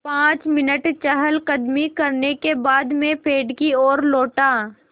पाँच मिनट चहलकदमी करने के बाद मैं पेड़ की ओर लौटा